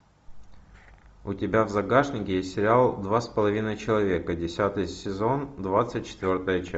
у тебя в загашнике есть сериал два с половиной человека десятый сезон двадцать четвертая часть